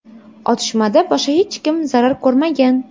Otishmada boshqa hech kim zarar ko‘rmagan.